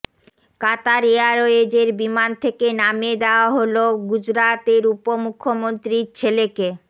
কাতার এয়ারওয়েজের বিমান থেকে নামিয়ে দেওয়া হল গুজরাতের উপ মুখ্যমন্ত্রীর ছেলেকে